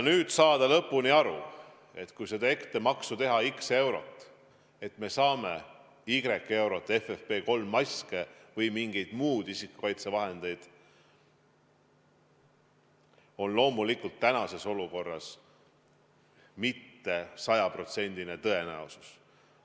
Selleks, et olla lõpuni kindel, et kui seda ettemaksu teha x eurot, siis me saame y euro eest FFP3-maske või mingeid muid isikukaitsevahendeid, ei ole loomulikult tänases olukorras sajaprotsendilist tõenäosust.